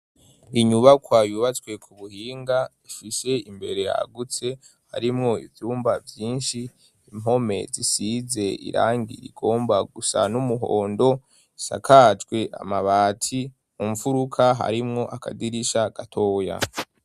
Inyubakwa yubatswe ku buhinga, ifise imbere yagutse ,harimwo ivyumba vyinshi ,impome zisize irangi rigomba gusa n'umuhondo ,isakajwe amabati, mu mfuruka harimwo akadirisha gatoya.